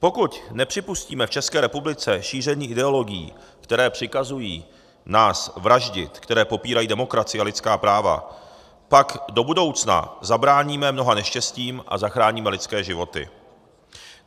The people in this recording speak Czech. Pokud nepřipustíme v České republice šíření ideologií, které přikazují nás vraždit, které popírají demokracii a lidská práva, pak do budoucna zabráníme mnoha neštěstím a zachráníme lidské životy.